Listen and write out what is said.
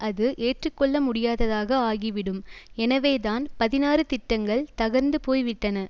அது ஏற்று கொள்ள முடியாததாக ஆகிவிடும் எனவே தான் பதினாறு திட்டங்கள் தகர்ந்து போய் விட்டன